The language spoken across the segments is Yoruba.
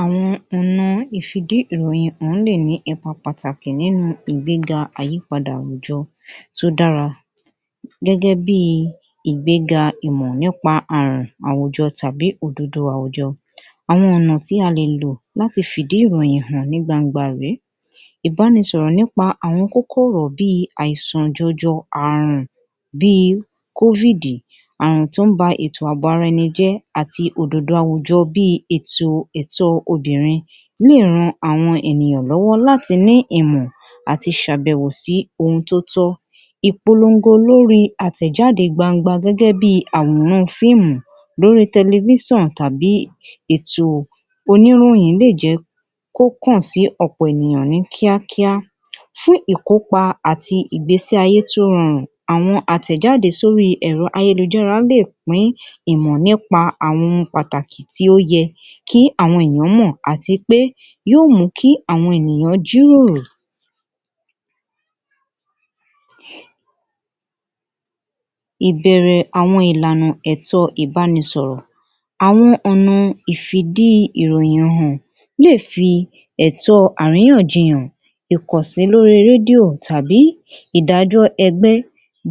Àwọn ọ̀nà ìfidí ìròyìn lè ní ipa pàtàkì nínú ìgbéga àyípadà àwùjọ tó dára gẹ́gẹ́ bí i ìgbéga ìmọ̀ nípa ààrùn àwùjọ tàbí òdodo àwùjọ. Àwọn ọ̀nà tí a lè lò láti fi ìdí ìròyìn hàn ní gbangba rèé. Ìbánisọ̀rọ̀ nípa àwọn kókó ọ̀rọ̀ bí i àìsàn jọjọ, ààrùn bí i covid, àrùn tó ń ba ètò àbò ara ẹni jẹ́ àti òdodo àwùjọ bí i ètò ẹ̀tọ́ obìnrin yóò ran àwọn ènìyàn lọ́wọ́ láti ní ìmọ̀ àti ṣàbẹ̀wò sií ohun tó tọ́. Ìpolongo lórí àtẹ̀jáde gbangba gẹ́gẹ́ bí i àwòran fíìmù lórí tẹlifíṣànù tàbí ètò oníròyìn lè jẹ́ kó kàn sí ọ̀pọ̀ ènìyàn ní kíákíá fún ìkópa àti ìgbésí ayé tí ó rọrùn, àwọn àtẹ̀jáde sórí àwọn ẹ̀rọ ayélujára lè pín ìmọ̀ nípa àwọn ohun pàtàkì tí ó yẹ kí àwọn ènìyàn mọ̀, àti pé yóò jẹ́ kí àwọn ènìyàn jíròrò ìbẹ̀rẹ̀ àwọn ìlànà ẹ̀tọ́ ìbánisọ̀rọ̀. Àwọn ọ̀nà ìfidi-ìròyìn hàn lè fi ẹ̀tọ àríyànjiyàn, ìkànsí lórí rédíò tàbí ìdájọ́ ẹgbẹ́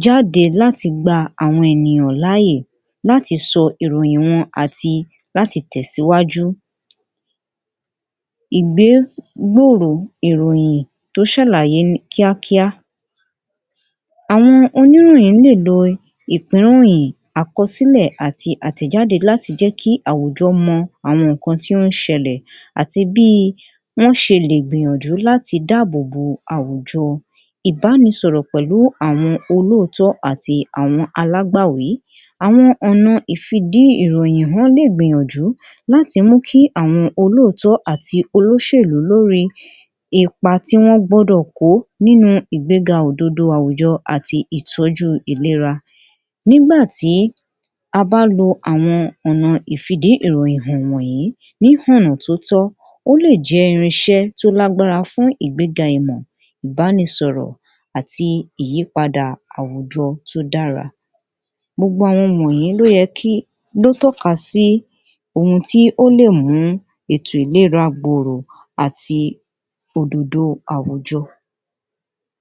jáde láti gba àwọn ènìyàn láàyè láti sọ àwọn ìròyìn wọn àti láti tẹ̀síwájú. Ìgbé gbòòrò ìròyìn tó ṣàlàyé ní kíákíá. Àwọn oníròyìn lè lo ìpínròyìn, àkọsílẹ̀ àti àtẹ̀jáde láti jẹ́ kí àwùjọ́ mọ àwọn nǹkan tí ó ń ṣẹlẹ̀ àti bí wọ́n ṣe lè gbìyànjú láti dáàbòbo àwùjọ. Ìbánisọ̀rọ̀ pẹ̀lú àwọn olóòtọ́ àti alágbàwí, àọn ọ̀nà ìfidí ìròyìn ó lè gbìyànjú láti mú kí àwọn olóòtọ́ àti olóṣèlú lórí ipa tí wọ́n gbọ́dọ̀ kó nínú ìgbéga òdodo àwùjọ àti ìtọ́jú ìlera nígbà tí a bá lo àwọn ọ̀nà ìfidi ìròyìn hàn wọ̀nyí ní ọ̀nà tó tọ́, ó lè jẹ́ irinṣẹ́ tó lágbára fún ìgbéga ìmọ̀, ìbánisọ̀rọ̀ àti ìyípadà àwùjọ tó dára. Gbogbo àwọn wọ̀nyí ló yẹ kí ló tọ́ka sí ohun tó lè mú kí ètò ìlera gbòòrò àti òdodo àwùjọ.